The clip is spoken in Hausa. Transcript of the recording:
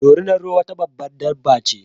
Dorinar ruwa wata babbar dabba ce